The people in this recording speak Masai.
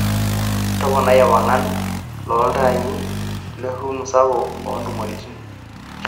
toponai ewangan loo iltaai le rumu sapuk o ntumoritin